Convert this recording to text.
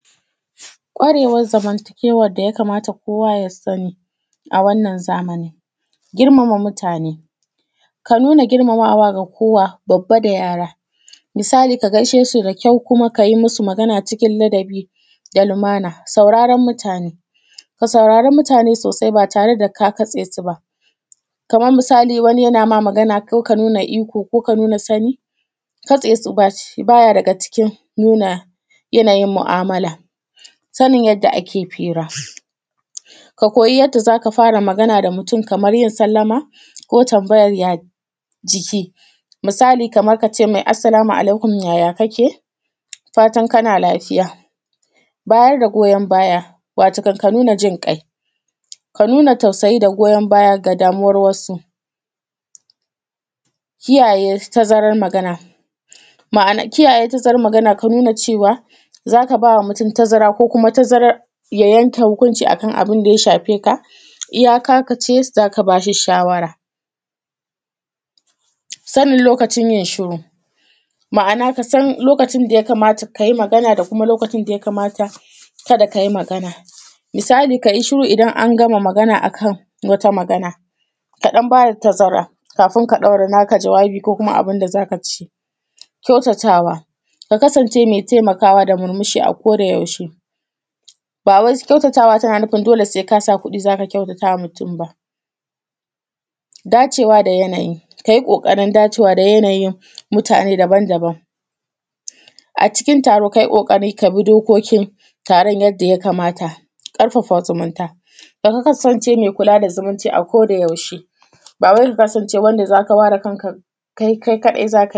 Kwarewan zamantakewan da ya kamata kowa ya sani a wanna zamani. Girmama mutane, ka nuna girmamamawa da kowa, babba da yara misali gaaishe su da kyau kuma ka yi musu magana cikin ladabi da ilimantarwa. Sauraran mutane, ka saurara mutane sosai ba tare da ka katse su ba kaman misali wani yana magana ko ka nuna iko ko ka nuna sani, katse su ba ya daga cikin nuna yanayin mu’amala, sanin yadda ake fira, ka koyi yadda za ka fara magana da mutum kamar yin sallma ko tambayan ya jikin misali kaman ka ce me assalmu alaikum, yaya kake? Fatan kana lafiya, ba ya ga goyan baya matakan ka nuna jin kai ka nuna tausayi da goyan baya ga damuwar wasu, kiyaye tazarar magana ma’ana kiyaye tazarar Magana, kanuna cewa za ka ba wa mutum tazara ko kuma tazarar ya yanke hukunci akan abun da ya shafe ka, iya ka ce za ka ba shi shawara. Sanin lokacin yin shiru, ma’anan ka san lokacin da ya kamata ka yi magana da lokacin da be kamata ka yi magana ba misali ka yi shiru idan an gama magana a kan wata magana ka ɗan ba da tazara kafin ka ɗaura naka jawabi ko kuma abun da za ka ce. Kyautatawa, ka kasance me taimakawa da murmushi akodayaushe, bawai kyautatawa yana nufin dole se ka sa kuɗi za ka kyautatawa mutum ba. Dacewa da yanayi, ka yi ƙoƙarin dacewa da yanayin mutane daban-daban a cikin taro, ka yi ƙoƙari ka bi dokokin taron yadda ya kamata. ƙarfafa zumunta, kasance me kula da zumunci akodayaushe, ba wai ka kansance wanda za ka ba da kanka kai kaɗai za ka yi.